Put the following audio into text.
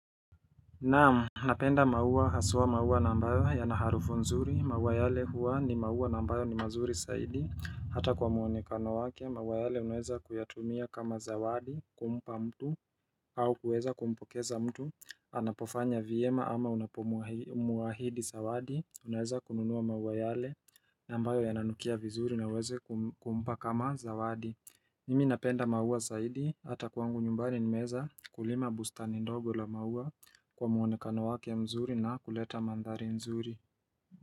Naam, napenda maua haswa maua nambayo yanaharufu nzuri, maua yale huwa ni maua nambayo ni mazuri saidi Hata kwa muonekano wake, maua yale unaweza kuyatumia kama zawadi, kumpa mtu, au kueza kumpokeza mtu anapofanya vyema ama unapomuahidi zawadi, unaweza kununua maua yale nambayo yananukia vizuri na uweze kumpa kama zawadi Mimi napenda maua zaidi, hata kwangu nyumbani nimeeza kulima bustani ndogo la maua kwa muonekano wake mzuri na kuleta mandhari mzuri.